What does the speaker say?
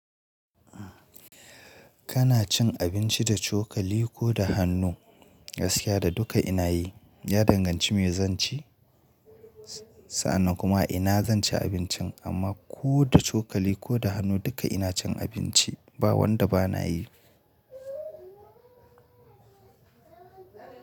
Kana cin abinci da cokali ko da hannu? Gaskiya da duka ina yi, ya danganci me zan ci, sa'an nan kuma ina zan ci abincin amma ko da cokali ko da hannu duka ina cin abinci, ba wanda ba na yi.